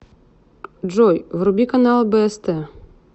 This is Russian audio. джой вруби канал бст